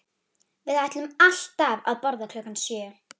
Við ætluðum alltaf að borða klukkan sjö